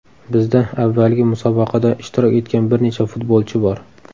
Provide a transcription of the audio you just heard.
Bizda avvalgi musobaqada ishtirok etgan bir necha futbolchi bor.